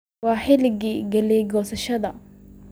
waa xilligii galey gosashadadha